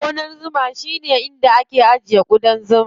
Gonan zuma shine wajen da ake ajiye ƙudan zuma.